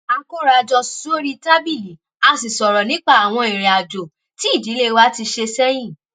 a kóra jọ sórí tábìlì a sì sọ̀rọ̀ nípa àwọn ìrìn àjò tí ìdílé wa ti ṣe sẹ́yìn